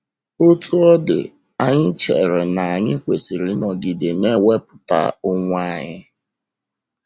Otú ọ dị, anyị chere na anyị kwesịrị ịnọgide na - ewepụta onwe um anyị.